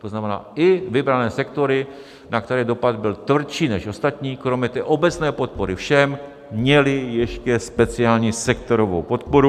To znamená, i vybrané sektory, na které dopad byl tvrdší než ostatní, kromě té obecné podpory všem, měly ještě speciální sektorovou podporu.